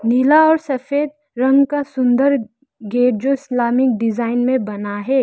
नीला और सफेद रंग का सुंदर गेट जो इस्लामीक डिजाइन में बना है।